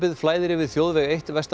flæðir yfir þjóðveg eitt vestan